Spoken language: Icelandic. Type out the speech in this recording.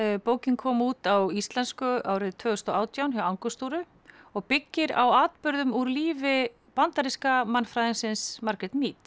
bókin kom út á íslensku árið tvö þúsund og átján hjá og byggir á atburðum úr lífi bandaríska mannfræðingsins Margareth